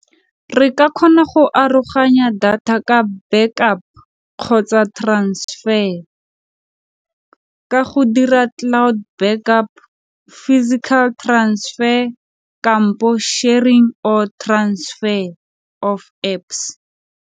Re ka kgona go aroganya data ka backup kgotsa transfer ka go dira cloud backup physical transfer sharing or transfer of Apps.